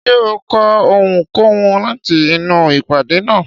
Ṣé ó kọ́ ohunkóhun láti inú ìpàdé náà?